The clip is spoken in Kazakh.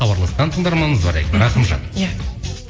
хабарласқан тыңдарманымыз бар екен рақымжан иә